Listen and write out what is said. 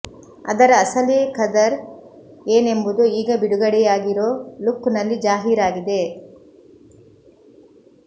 ಅದರ ಅಸಲೀ ಖದರ್ ಏನೆಂಬುದು ಈಗ ಬಿಡುಗಡೆಯಾಗಿರೋ ಲುಕ್ ನಲ್ಲಿ ಜಾಹೀರಾಗಿದೆ